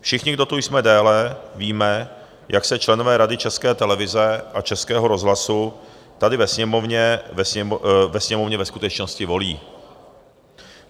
Všichni, kdo tu jsme déle, víme, jak se členové Rady České televize a Českého rozhlasu tady ve Sněmovně ve skutečnosti volí.